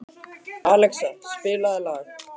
Alexía, spilaðu lag.